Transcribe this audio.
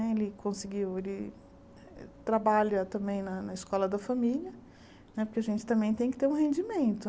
Ele conseguiu ele trabalha também na na escola da família, porque a gente também tem que ter um rendimento.